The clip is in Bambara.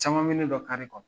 Caman min ne ka kare kɔnɔ.